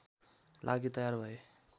लागि तयार भए